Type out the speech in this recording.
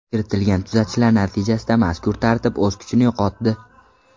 Kiritilgan tuzatishlar natijasida mazkur tartib o‘z kuchini yo‘qotdi.